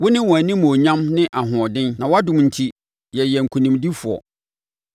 Wone wɔn animuonyam ne ahoɔden, na wʼadom enti yɛyɛ nkonimdifoɔ.